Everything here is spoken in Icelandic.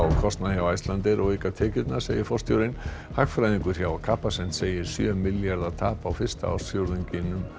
kostnað hjá Icelandair og auka tekjurnar segir forstjórinn hagfræðingur hjá Capacent segir sjö milljarða tap á fyrsta ársfjórðungi